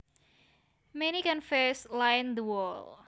Many canvases lined the wall